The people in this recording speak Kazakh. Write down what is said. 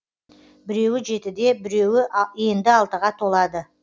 біреуі жетіде біреуі енді алтыға толады